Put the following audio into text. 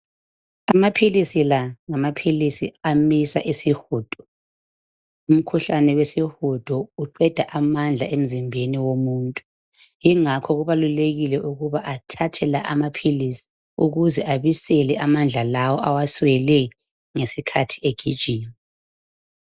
Amaphilisi la, ngamaphilisi amisa isihudo. Umkhuhlane wesihudo uqeda amandla emzimbeni womuntu, ingakho kubalulekile ukuba athathe la amaphilisi ukuze abisele amandla lawa awaswele ngesikhathi egijima.